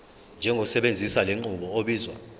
njengosebenzisa lenqubo obizwa